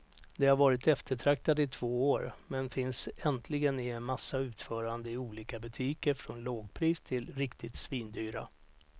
De har varit eftertraktade i två år, men finns äntligen i en massa utföranden i olika butiker från lågpris till riktigt svindyra.